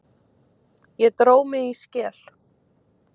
Ég dró mig í skel.